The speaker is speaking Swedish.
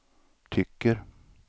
tycker